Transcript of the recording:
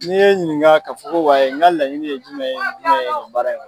N'i ye n ɲininka ka fɔ ko wayi n ka laɲini ye jumɛn ye